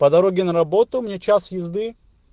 по дороге на работу мне час езды